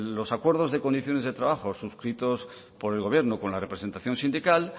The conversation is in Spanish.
los acuerdos de condiciones de trabajo suscritos por el gobierno con la representación sindical